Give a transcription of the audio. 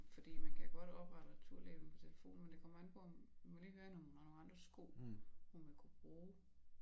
Fordi man kan godt oprette returlabel på telefonen men det kommer an på om vi må lige høre hende om hun har nogen andre sko hun vil kunne bruge